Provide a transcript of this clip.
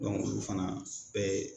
ulu fana bɛ